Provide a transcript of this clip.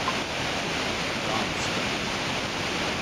канска